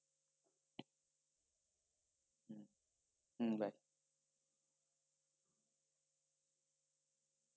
হম bye